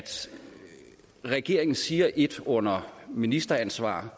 regeringen siger ét under ministeransvar